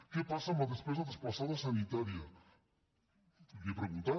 què passa amb la despesa desplaçada sanitària li he preguntat